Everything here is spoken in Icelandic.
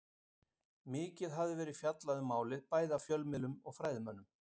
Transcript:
Mikið hafði verið fjallað um málið, bæði af fjölmiðlum og fræðimönnum.